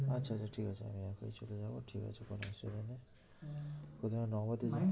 আচ্ছা আচ্ছা ঠিক আছে আমি একাই চলে যাবো ঠিক আছে কোনো অসুবিধা নেই। হ্যাঁ প্রথমে